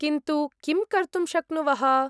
किन्तु, किं कर्तुं शक्नुवः?